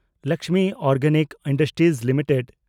Lakshmi organic industries limited